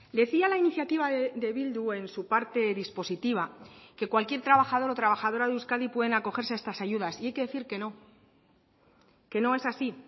decía la iniciativa de bildu en su parte dispositiva que cualquier trabajador o trabajadora de euskadi pueden acogerse a estas ayudas y hay que decir que no que no es así